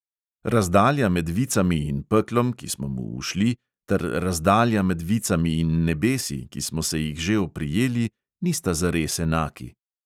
Razdalja med vicami in peklom, ki smo mu ušli, ter razdalja med vicami in nebesi, ki smo se jih že oprijeli, nista zares enaki.